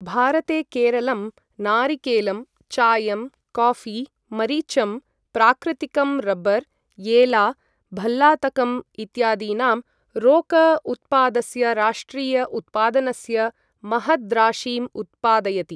भारते केरलं नारिकेलम्, चायम्, काफी, मरिचम्, प्राकृतिकं रबर्, एला, भल्लातकम् इत्यादीनां रोक उत्पादस्य राष्ट्रिय उत्पादनस्य महद्राशिम् उत्पादयति।